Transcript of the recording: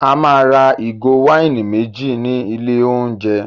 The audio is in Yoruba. A máa ra ìgò wáìnì méjì ní ilé-ooúnjẹ.